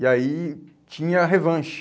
E aí tinha revanche.